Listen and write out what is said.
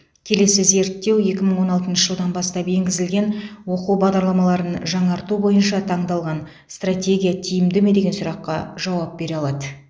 келесі зерттеу екі мың он алтыншы жылдан бастап енгізілген оқу бағдарламаларын жаңарту бойынша таңдалған стратегия тиімді ме деген сұраққа жауап бере алады